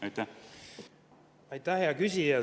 Aitäh, hea küsija!